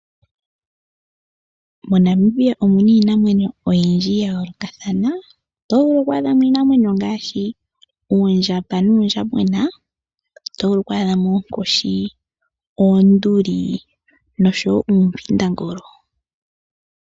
MoNamibia omuna iinamwenyo oyindji yayoolokathana otovulu oku adhamo iinamwenyo ngaashi oondjamba nuundjambona, otovulu oku adhamo oonkoshi, oonduli nosho woo oompindangolo.